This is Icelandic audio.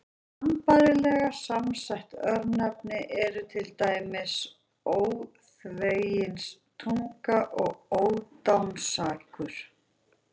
Sambærilega samsett örnefni eru til dæmis Óþveginstunga og Ódáinsakur.